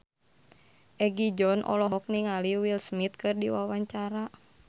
Egi John olohok ningali Will Smith keur diwawancara